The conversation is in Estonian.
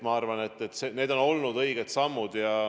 Ma arvan, et need on olnud õiged sammud.